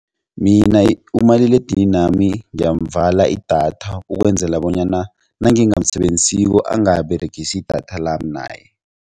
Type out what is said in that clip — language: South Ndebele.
Mina umaliledininami ngiyamvala idatha ukwenzela bonyana nangingamsebenzisiko angaberegisi idatha lami naye.